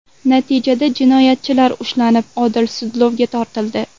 Natijada jinoyatchilar ushlanib, odil sudlovga tortildi.